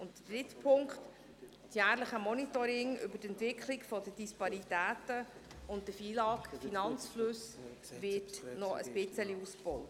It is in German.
Der dritte Punkt, das jährliche Monitoring über die Entwicklung der Disparitäten und der FILAG-Finanzflüsse, wird noch ein bisschen ausgebaut.